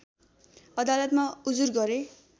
अदालतमा उजुर गरे